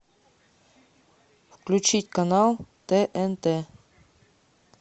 включить канал тнт